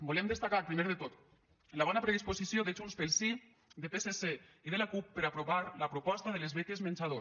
volem destacar primer de tot la bona predisposició de junts pel sí de psc i de la cup per aprovar la proposta de les beques menjador